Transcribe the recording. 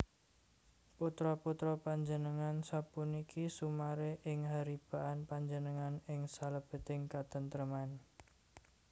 Putra putra panjenengan sapuniki sumaré ing haribaan panjenengan ing salebeting katentreman